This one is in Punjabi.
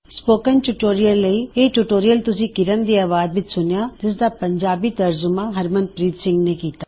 ਸਪੋਕਨ ਟਿਊਟੋਰਿਯਲ ਲਈ ਇਹ ਟਯੂਯੋਰਿਅਲ ਤੁਸੀ ਕਿਰਣ ਦੀ ਆਵਾਜ਼ ਵਿੱਚ ਸੂਨਿਆ ਜਿਸਦਾ ਪੰਜਾਬੀ ਤਰਜੁਮਾ ਹਰਮਨਪ੍ਰੀਤ ਸਿੰਘ ਨੇਂ ਕੀੱਤਾ